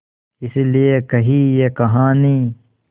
इस लिये कही ये कहानी